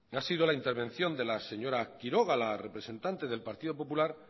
ha sido la intervención de la señora quiroga la representante del partido popular